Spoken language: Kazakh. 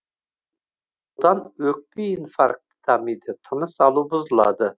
содан өкпе инфаркті дамиды тыныс алу бұзылады